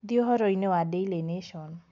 thie uhoro ini wa daily nation